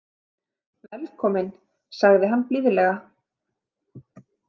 Velkomin, sagði hann blíðlega.